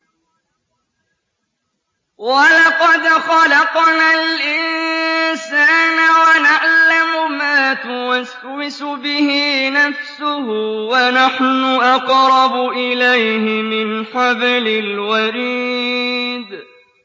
وَلَقَدْ خَلَقْنَا الْإِنسَانَ وَنَعْلَمُ مَا تُوَسْوِسُ بِهِ نَفْسُهُ ۖ وَنَحْنُ أَقْرَبُ إِلَيْهِ مِنْ حَبْلِ الْوَرِيدِ